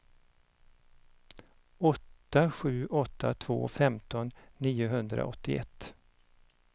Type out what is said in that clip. åtta sju åtta två femton niohundraåttioett